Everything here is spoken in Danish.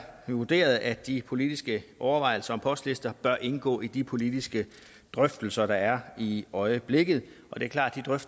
vurderet at de politiske overvejelser om postlister bør indgå i de politiske drøftelser der er i øjeblikket det er klart